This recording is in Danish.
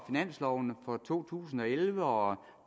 finansloven for to tusind og elleve og